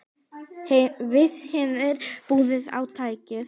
Við hinir biðum á teig.